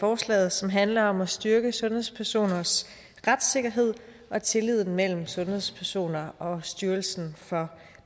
forslaget som handler om at styrke sundhedspersoners retssikkerhed og tilliden mellem sundhedspersoner og styrelsen for